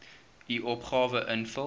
u opgawe invul